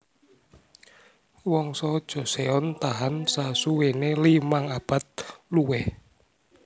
Wangsa Joseon tahan sasuwéné limang abad luwih